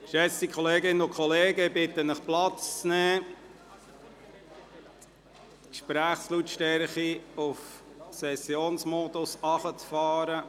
Geschätzte Kolleginnen und Kollegen, ich bitte Sie, Platz zu nehmen und die Lautstärke der Gespräche auf Sessionsmodus herunterzufahren.